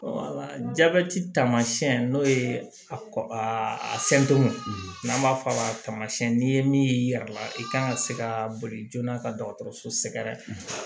Jabɛti tamasiyɛn n'o ye a n'an b'a fɔ a ma tamasiyɛn n'i ye min ye i yɛrɛ la i kan ka se ka boli joona ka dɔgɔtɔrɔso sɛgɛrɛ